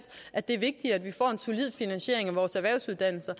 at det er vigtigere at vi får en solid finansiering af vores erhvervsuddannelser